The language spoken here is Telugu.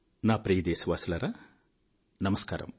నా ప్రియదేశవాసులారా నమస్కారం